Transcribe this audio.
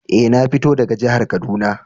Eh, na fito daga jihar Kaduna.